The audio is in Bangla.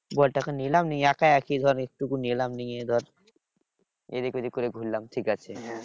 বলটা কে নিলাম নিয়ে একা একা ধর একটুকু নিলাম নিয়ে ধর এদিক ওদিক করে ঘুরলাম ঠিকাছে।